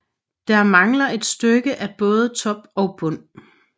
Der mangler et stykke af både top og bund